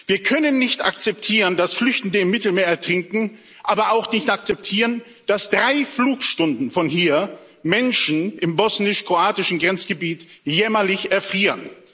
Wir können nicht akzeptieren, dass Flüchtende im Mittelmeer ertrinken, aber auch nicht akzeptieren, dass drei Flugstunden von hier Menschen im bosnisch kroatischen Grenzgebiet jämmerlich erfrieren.